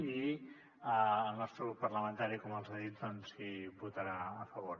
i el nostre grup parlamentari com els hi he dit hi votarà a favor